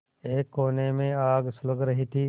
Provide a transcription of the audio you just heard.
एक कोने में आग सुलग रही थी